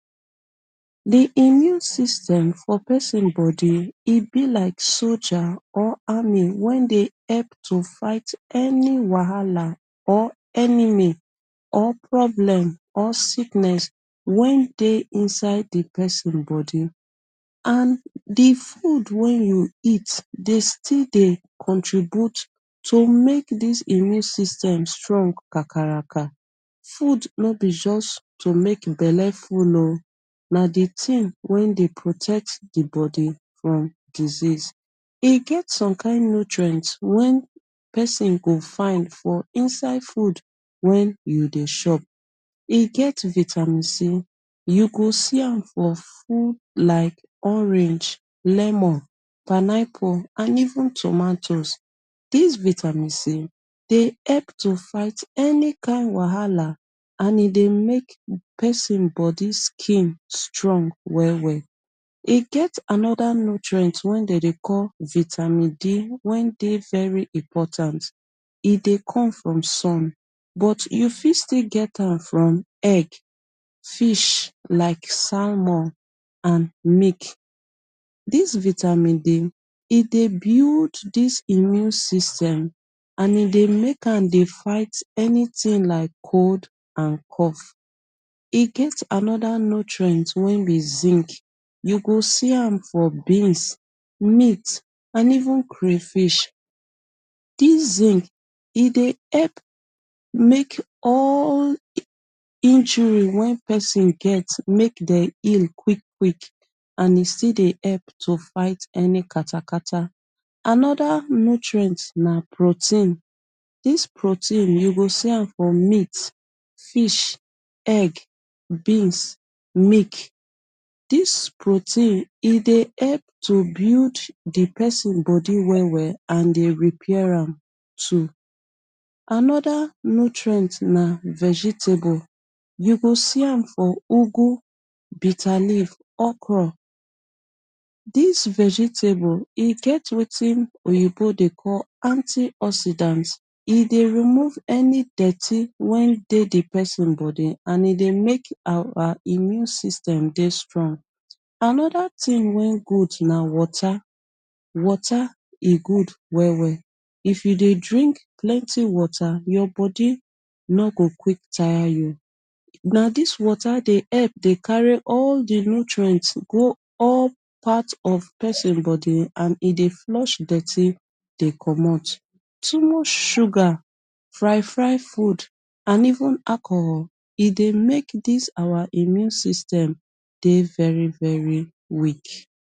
Di immune system fo pesin bodi, e bi like soja or army wen dey hep to fait any wahala or enemy or problem or sickness wey dey inside di pesin bodi and di food wey you eat dey sti dey contribute to make dis immune system strong kakaraka, food no be juss to make belle full o na di tin wey dey protect di bodi and disease e get some kind nutrient wen pesin go fine for inside food wen you dey chop e get vitamin C, you go see am for food like orange, lemon, pineapple and even tomatoes. Dis vitamin C dey hep to fait ani kind wahala an e dey make pesin bodi, skin strong well-well, e get anoda nutrient wen dey dey call vitamin D wen dey very important, e dey come from sun, but you fit sti get am from egg, fish like salmon and milk, dis vitamin D e dey build dis immune system an e dey make am dey fight anytin like cold and cough, e get anoda nutrient wey bin zinc you go see am for beans meat and even crayfish dis zinc e dey hep make all injuri wen pesin get make dem heal quick quick and e sti dey hep to fait ani katakata, anoda nutrient na protein dis protein you go see am for meat, fish, egg, beans, mik. Dis protein e dey hep to build pesin bodi well-well an dey repair am too, anoda nutrient na vegetable, you go see am for ugwu, bitter leaf, okro. Dis vegetable e get wetin oyinbo dey call antioxidants, e dey remove ani dorti wen dey di pesin bodi an e dey make our immune system dey strong anoda tin wen good na wata. Wata e good well-well if you dey drink plenti wata your bodi no go quick tire you na dis wata dey hep dey carry all di nutrient go all part of pesin bodi an e dey flush dirty dey commot, too much sugar fri-fri food an even alcohol e dey make dis our immune system dey very-very weak.